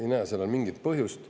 Ei näe sellel mingit põhjust.